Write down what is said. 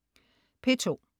P2: